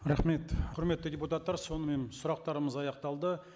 рахмет құрметті депутаттар сонымен сұрақтарымыз аяқталды